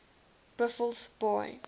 buffelsbaai